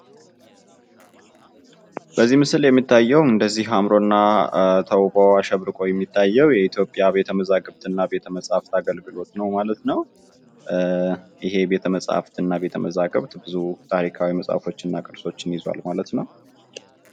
በዚህ ምስል ላይ የሚታዬው እንደዚህ አምሮና ተውቦ አሸብርቆ የሚታዬው የኢትዮጵያ ቤተ መዛግብትና ቤተ መፅሀፍት አገልግሎት ነው ማለት ነው። ይሄ ቤተ መፅሐፍትና ቤተ መዛግብት ብዙ ታሪካዊ መፅሀፎችንና ቅርሶችን ይዟል ማለት ነው።